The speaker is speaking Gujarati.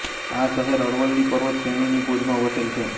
આ શહેર અરવલ્લી પર્વત શ્રેણીની ગોદમાં વસેલ છે